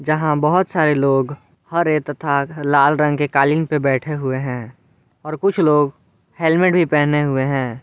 यहाँ बहुत सारे लोग हरे तथा लाल रंग के कालीन पर बैठे हुए हैं और कुछ लोग हेलमेट भी पहने हुए हैं।